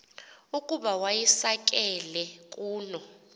ukuba wayisakele kuno